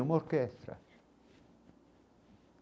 É uma orquestra.